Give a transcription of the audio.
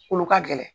Olu ka gɛlɛn